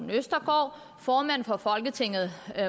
venstre formanden for folketinget